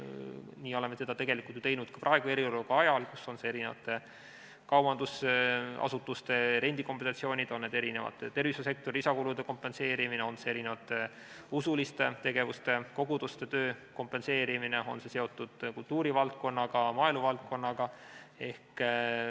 Nii oleme seda tegelikult ju teinud ka praegu, eriolukorra ajal, on need kaubandusasutuste rendikombinatsioonid, on see tervishoiusektori lisakulude kompenseerimine, on see usuliste tegevuste, koguduste töö kompenseerimine, on see seotud kultuurivaldkonnaga, maaeluvaldkonnaga.